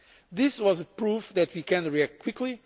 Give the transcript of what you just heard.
This was proof that we can react quickly